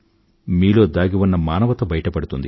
మీలో దాగి ఉన్న మానవత బయటపడుతుంది